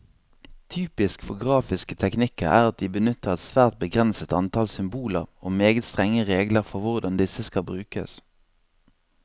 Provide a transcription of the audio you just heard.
Typisk for grafiske teknikker er at de benytter et svært begrenset antall symboler, og meget strenge regler for hvordan disse skal brukes.